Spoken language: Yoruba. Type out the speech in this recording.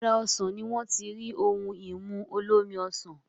Ara osàn ni wọ́n ti rí ohun-ìmu olómi ọsàn